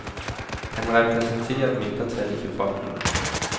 Han repræsenterer et mindretal i befolkningen.